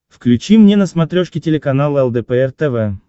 включи мне на смотрешке телеканал лдпр тв